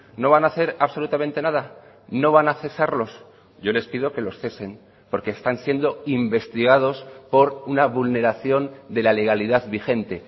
no van a hacer absolutamente nada no van a cesarlos yo les pido que los cesen porque están siendo investigados por una vulneración de la legalidad vigente